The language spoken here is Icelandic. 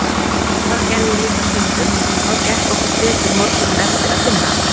Það gerði ég líka stundum og þá gekk okkur betur morguninn eftir að finna allt